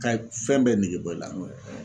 Ka fɛn bɛɛ nege bɔ i la